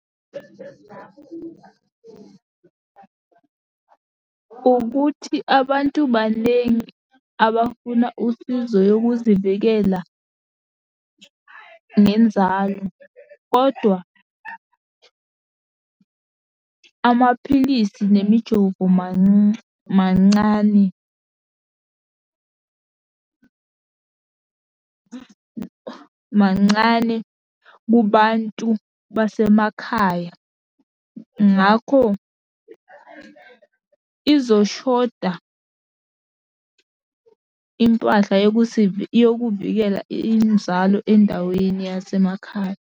Ukuthi abantu banengi abafuna usizo yokuzivikela ngenzalo, kodwa amaphilisi nemijovo mancane. Mancane kubantu basemakhaya. Ngakho, imali izoshoda impahla yokuvikela inzalo endaweni yasemakhaya.